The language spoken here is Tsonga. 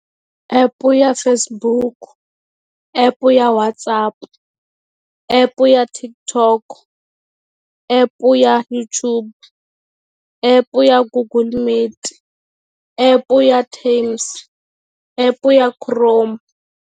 Epu ya Facebook, epu ya WhatsApp-u epu ya TikTok, epu ya YouTube epu ya Google Meet, epu ya Teams epu ya Chrome.